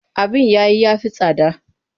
Abin yayi ya fi tsada.